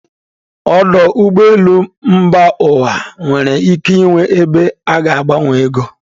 Ọdụ ụgbọ elu mba ụwa nwere ike ịnwe ebe a ga-agbanwe ego